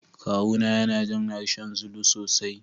Kawuna yana jin harshen Zulu sosai.